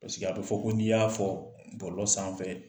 Paseke a bɛ fɔ ko n'i y'a fɔ bɔlɔlɔ sanfɛ